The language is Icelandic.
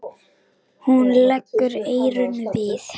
Hún leggur eyrun við.